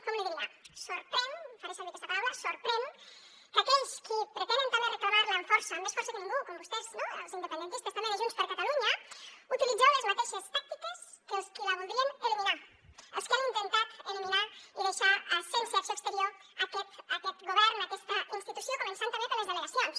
com l’hi diria sorprèn faré servir aquesta paraula sorprèn és que aquells qui pretenen també reclamar la amb força amb més força que ningú com vostès no els independentistes també de junts per catalunya utilitzeu les mateixes tàctiques que els qui la voldrien eliminar els que han intentat eliminar i deixar sense acció exterior aquest govern aquesta institució començant també per les delegacions